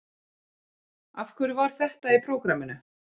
Af hverju var þetta í prógraminu?